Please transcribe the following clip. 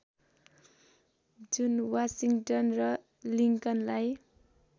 जुन वाशिंटन र लिङ्कनलाई